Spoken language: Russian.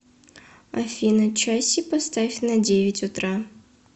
афина часи поставь на девять утра